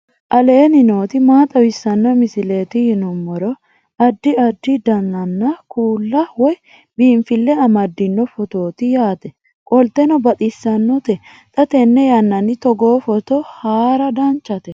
aleenni nooti maa xawisanno misileeti yinummoro addi addi dananna kuula woy biinfille amaddino footooti yaate qoltenno baxissannote xa tenne yannanni togoo footo haara danchate